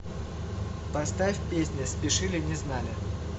поставь песня спешили не знали